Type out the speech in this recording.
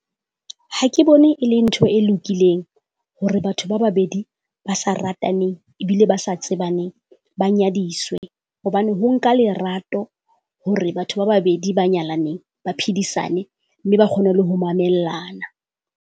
Ha ke bone e le ntho e lokileng hore batho ba babedi ba sa rataneng ebile ba sa tsebaneng ba nyadiswe. Hobane ho nka lerato hore batho ba babedi ba nyalaneng ba phedisane mme ba kgone le ho mamellana.